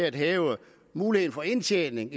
at hæve muligheden for indtjening